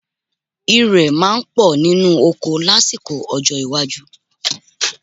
Ìrẹ̀ máa pọ̀ nínú oko lásìkò ọjọ́ iwájú